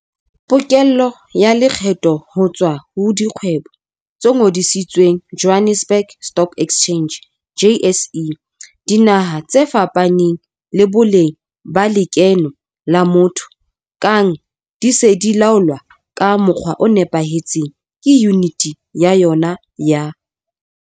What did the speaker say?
Pokello ya lekgetho ho tswa ho dikgwebo tse ngodisitsweng Johannesburg Stock Exchange JSE, dinaha tse fapaneng le boleng ba lekeno la motho kang di se di laolwa ka mokgwa o nepahetseng ke Yuniti ya yona ya.